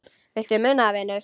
Viltu muna það, vinur?